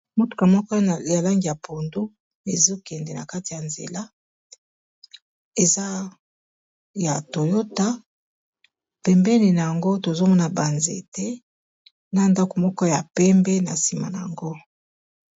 motuka moko ya langi ya pondo ezokende na kati ya nzela eza ya toyota pembeni na yango tozomona banzete na ndako moko ya pembe na nsima na yango